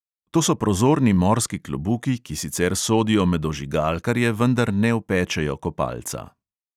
To so prozorni morski klobuki, ki sicer sodijo med ožigalkarje, vendar ne opečejo kopalca.